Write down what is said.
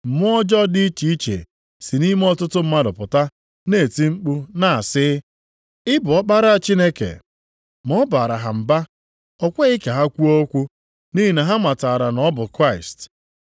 Mmụọ ọjọọ dị iche iche si nʼime ọtụtụ mmadụ pụta na-eti mkpu na-asị, “Ị bụ Ọkpara Chineke.” Ma ọ baara ha mba, o kweghị ka ha kwuo okwu, nʼihi na ha matara na ọ bụ Kraịst.